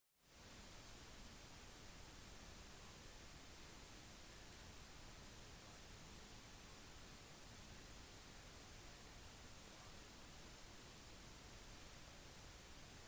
invasjonen og de følgende kampene på d-dagen befridde nord-frankrike men sør-frankrike var fortsatt ikke befridd